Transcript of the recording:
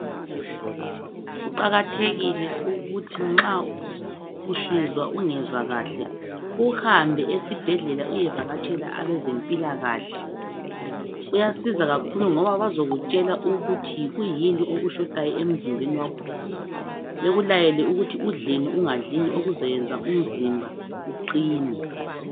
Kuqakathekile ukuthi nxa usizwa ungezwa kahle uhambe esibhedlela uyevakatshela abezempilakahle. Kuyasiza kakhulu ngoba bazokutshela ukuthi yikwiyini okushotayo emzimbeni wakho bekulayele ukuthi udleni ungadlini okuzayenza umzimba uqine.